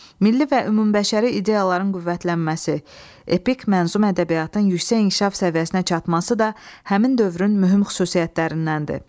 Milli və ümumbəşəri ideyaların qüvvətlənməsi, epik mənzum ədəbiyyatın yüksək inkişaf səviyyəsinə çatması da həmin dövrün mühüm xüsusiyyətlərindəndir.